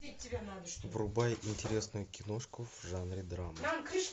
врубай интересную киношку в жанре драма